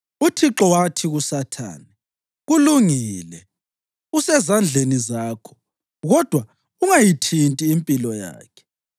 UThixo wathi kuSathane, “Kulungile, usezandleni zakho, kodwa ungayithinti impilo yakhe.”